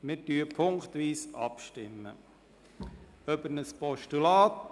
Wir stimmen punktweise ab über ein Postulat.